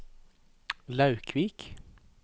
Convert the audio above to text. Laukvik